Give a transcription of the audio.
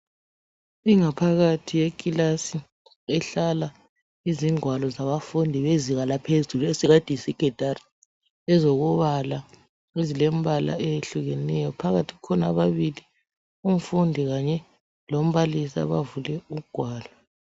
Ingaphakathi yekilasi ihlala izingwalo zabafundi bezinga laphezulu esingathi yiSekhendari, ezokubala ezilembala eyehlukeneyo phakathi kukhona ababili, umfundi kanye lombalisi abavule ugwalo.